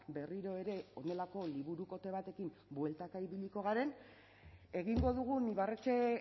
berriro ere honelako liburukote batekin bueltaka ibiliko garen egingo dugun ibarretxe